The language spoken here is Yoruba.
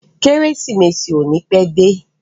Kérésìmesì ò ní pẹ́ dé.